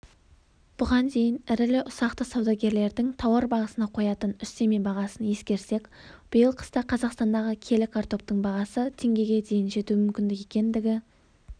бұған дейін ірілі-ұсақты саудагерлердің тауар бағасына қоятын үстеме бағасын ескерсек биыл қыста қазақстандағы келі картоптың бағасы теңгеге дейін жетуі мүмкін екендігі